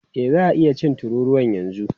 E, za a iya cin tururuwan yanzu.